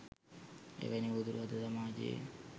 එවැනි උවදුරු අද සමාජයේ